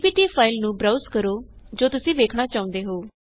PPT file ਨੂੰ browse ਕਰੋ ਜੋ ਤੁਸੀਂ ਵੇਖਣਾ ਚਾਹੁੰਦੇ ਹੋ